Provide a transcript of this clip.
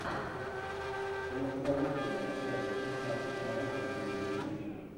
в твоем каталоге есть часть шестнадцать майя рождение легенды